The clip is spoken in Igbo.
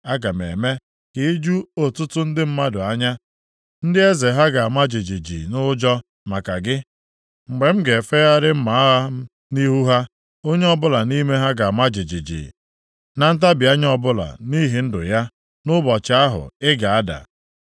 Aga m eme ka i ju ọtụtụ ndị mmadụ anya, + 32:10 Nwee akpata oyi nʼebe ị nọ ndị eze ha ga-ama jijiji nʼụjọ maka gị mgbe m ga-efegharị mma agha m nʼihu ha. Onye ọbụla nʼime ha ga-ama jijiji + 32:10 Nke a bụ nʼihi egwu na ntabi anya ọbụla nʼihi ndụ ya nʼụbọchị ahụ, ị ga-ada.